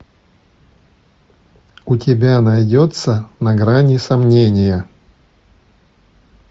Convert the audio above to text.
у тебя найдется на грани сомнения